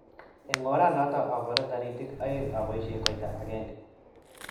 Eng oranoto abare taritik aeng abaishe koita agenge